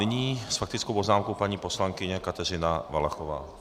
Nyní s faktickou poznámkou paní poslankyně Kateřina Valachová.